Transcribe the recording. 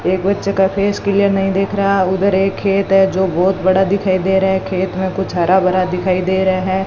एक बच्चे का फेस क्लियर नहीं दिख रहा उधर एक खेत है जो बहुत बड़ा दिखाई दे रहा है खेत में कुछ हरा भरा दिखाई दे रहा है।